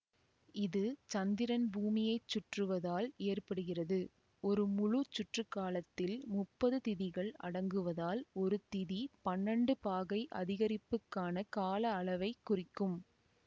இது சந்திரன் பூமியை சுற்றுவதால் ஏற்படுகிறது ஒரு முழு சுற்றுக்காலத்தில் முப்பது திதிகள் அடங்குவதால் ஒரு திதி பன்னெண்டு பாகை அதிகரிப்புக்கான கால அளவை குறிக்கும்